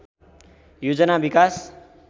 योजना विकास